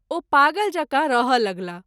ओ पागल जकाँ रहय लगलाह।